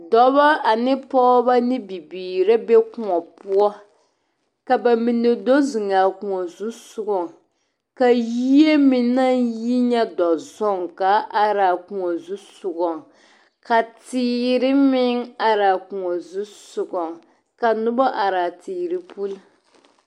Dɔbɔ ane pɔgeba ane bibiiri be kõɔ poɔ ka ba mine do zeŋ a kõɔ zusɔgɔ poɔ ka yie meŋ nyɛ dɔzɔŋ ka a pãã are a kõɔ zu sɔgɔ ka teere meŋ are a kõɔ zusɔga ka noba are a teere puliŋ.